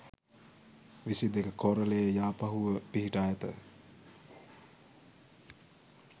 විසි දෙක කෝරළයේ යාපහුව පිහිටා ඇත.